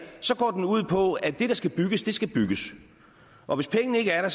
så går den ud på at det der skal bygges skal bygges og hvis pengene ikke er